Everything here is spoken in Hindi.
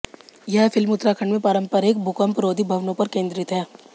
यह फिल्म उत्तराखंड में पारंपरिक भूकम्परोधी भवनों पर केंद्रित है